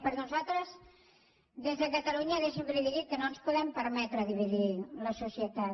perquè nosaltres des de catalunya deixi’m que li digui que no ens podem permetre dividir la societat